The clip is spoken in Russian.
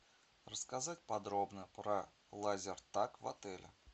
рассказать подробно про лазертаг в отеле